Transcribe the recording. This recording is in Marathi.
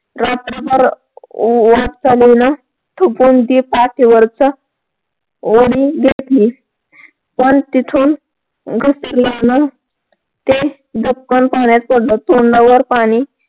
रात्रभर वाट चालून थकून ती पण तिथून ते धपकण पाण्यात पडलं तोंडावर पाणी